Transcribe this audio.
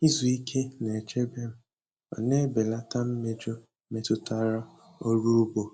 Izu ike na-echebe m ma na-ebelata mmejọ metụtara ọrụ ugbo.